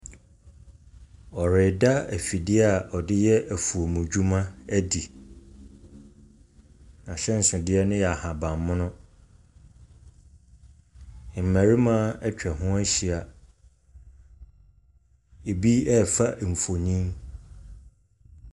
Ɔreda afidie a ɔde yɛ afuom dwuma adi. Na ahyɛnsodeɛ no yɛ ahabammono. Mmarima atwa ho ahyia, ɛbi ɛɛfa mfonin.